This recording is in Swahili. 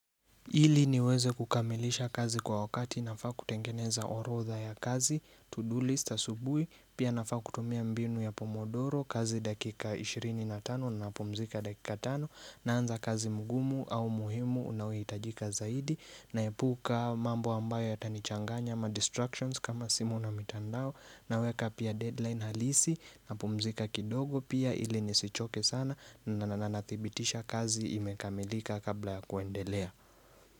Ili niweze kukamilisha kazi kwa wakati nafaa kutengeneza orodha ya kazi, to do list asubui, pia nafaa kutumia mbinu ya pomodoro, kazi dakika 25 na napumzika dakika 5 naanza kazi mgumu au muhimu unaoitajika zaidi naepuka mambo ambayo yatanichanganya ama distractions kama simu na mitandao naweka pia deadline halisi napumzika kidogo pia ili nisichoke sana na natibitisha kazi imekamilika kabla ya kuendelea.